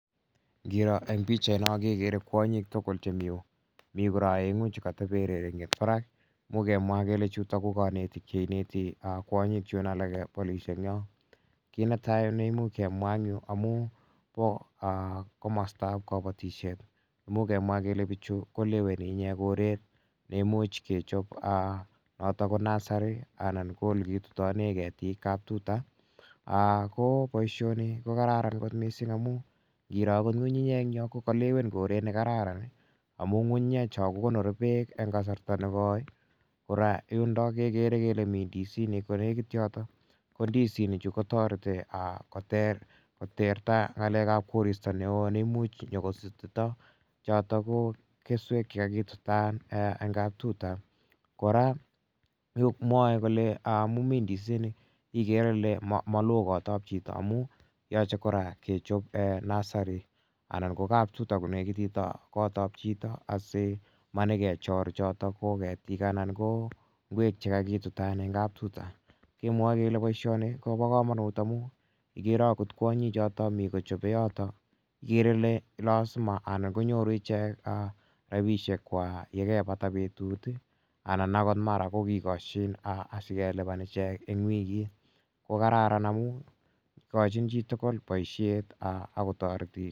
Ngiro eng' pichaino kekere kwonyik tugul chemi yu. Mi kora aeng'u che katepe rerenget parak. Imuch kemwa kemwa kele chutok che ineti kwonyik chun alak polishek en yo. Kit ne tai ne imuch kemwa eng' yu amu pa komastaap kapatishet imuch kemwa kele pichu koleweni ichek ne imuch kechop notok ko nursery anan ko ole kitutane ketik, kaptuta. Ko poishoni ko kararan kot missing' amu ngiro akot ng'ung'unyek eng' yo ko kalewen koret ne kararan amu ng'ung'unyecho ko konori peek eng' kasarta ne koi. Kora yundok kekere kole mi ndisinik ko nekit yotok. Ko ndisinichu ko tareti koterta ng'alek ap korista ne oo ne imuch nyu kosutita chotok ko keswek che kakitutan eng' kaptuta. Kora ko mwae kole amu mi ndisinik ikere ile ma lo kot ap chito amu yache kora kechop nursery anan ko kaptuta ko nekitit ak kot ap chito asi manyikechor chotok ko ketik anan ko ngwek che kakitutan eng' kaptuta. Kenwae kele poishoni ko pa kamanut amu ikere akot kwonyichoto mi kochope yotok ikere ile lasima konyoru ichek rapishekwak ye kepata petut anan akot mara ko kikashin asikelipan eng' wikit. Ko kararan amu ikachin chi tugul poishet ako tareti.